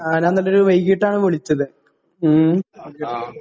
ഞാൻ എന്നിട്ട് ഒരു വൈകിട്ട് ആണ് വിളിച്ചത്